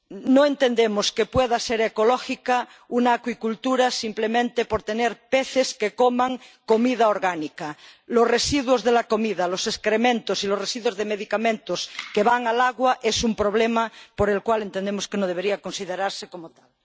No entendemos que pueda ser ecológica una acuicultura simplemente porque los peces coman comida orgánica los residuos de la comida, los excrementos y los residuos de medicamentos que van al agua son un problema por el cual entendemos que no debería considerarse como tal.